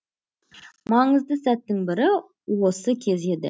маңызды сәттің бірі осы кез еді